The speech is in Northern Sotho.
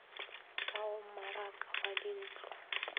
ka go mmaraka wa dintlo